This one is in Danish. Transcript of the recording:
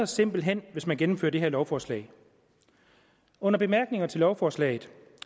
simpelt hen hvis man gennemfører det her lovforslag under bemærkninger til lovforslaget